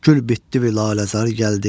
Gül bitdi vilaləzar gəldi.